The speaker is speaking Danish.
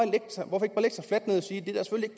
ikke